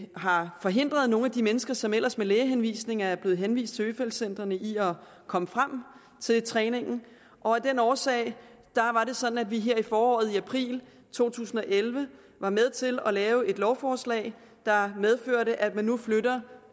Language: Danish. har forhindret nogle af de mennesker som ellers med lægehenvisning er blevet henvist til øfeldt centrene i at komme frem til træningen og af den årsag var det sådan at vi her i foråret i april to tusind og elleve var med til at lave et lovforslag der medførte at man nu flytter